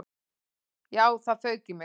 Já, það fauk í mig.